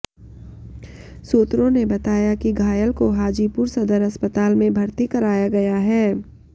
सूत्रों ने बताया कि घायल को हाजीपुर सदर अस्पताल में भर्ती कराया गया है